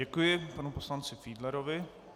Děkuji panu poslanci Fiedlerovi.